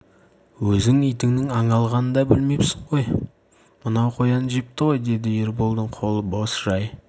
өзің итіңнің аң алғанын да білмепсің ғой мынау қоян жепті ғой деді ерболдың қолы бос жай